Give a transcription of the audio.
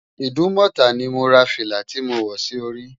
Idumota ni mó rá filá ti mó wò si óri